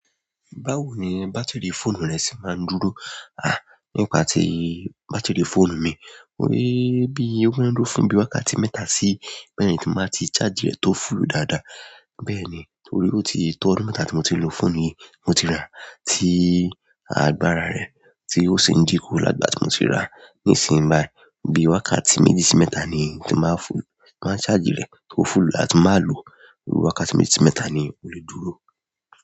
Báwo ni bátírì fóònù rẹ ṣe máa ń dúró? À, nípa ti bátírì fóònù mi, mo rí bí ó ń rún fún bí i wákàtí mẹ́ta sí mẹ̀rìn ti ba ti ṣáàjì rẹ̀ tó fúlù dáadáa. Bẹ́ẹ̀ni torí oti to ọdún mẹ́ta ti mo ti n lo fóònù yi mo ti ra ti agbára re sin dinku láti ìgbà tí moti ra. Nísìnyí báyìí, bí i wákàtí méjì sí mẹ́ta ni ti máa fú-- máa ṣáàjì rẹ̀ kó fúlù, a ti máa lo, wákàtí méjì sí mẹ́ta ni ó le dúró.